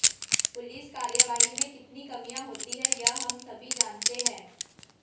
police कार्यवाही में कितनी कमियां होती हैं यह हम सभी जानते हैं